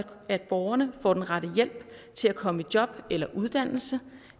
at borgerne får den rette hjælp til at komme i job eller uddannelse